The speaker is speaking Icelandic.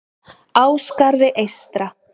Ásgarði eystra